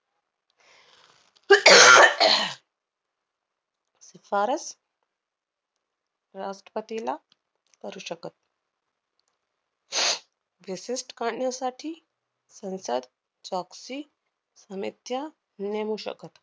शिफारस राष्ट्रपतीला करू शकत. विशिष्ट करण्यासाठी पंचायत नेमू शकत.